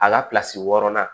A ka kilasi wɔɔrɔnan